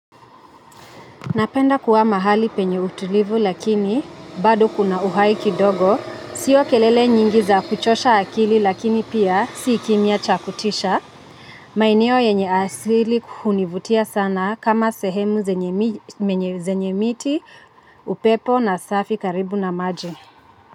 Napenda kuwa mahali penye utulivu lakini, bado kuna uhai kidogo, sio kelele nyingi za kuchosha akili lakini pia si kimya cha kutisha. Maeneo yenye asili hunivutia sana kama sehemu zenye mi zenye miti, upepo na safi karibu na maji.